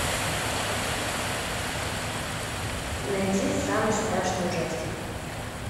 найди самый страшный ужастик